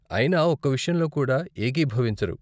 అయినా ఒక్క విషయంలో కూడా ఏకీభవించరు.